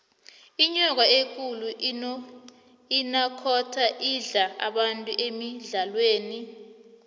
inyoka ekulu inakhonda idla abantu emidlalweni